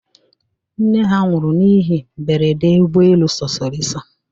Nne ha nwụrụ n'ihi mberede ụgbọelu sosoliso.